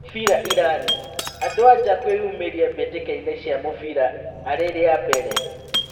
Mũbira Irani: Andũ-a-nja kwĩyumĩria mbĩtĩkainĩ cia mũbira ari-riambere